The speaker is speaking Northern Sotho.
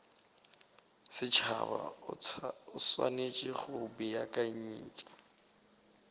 setšhaba o swanetše go beakanyetša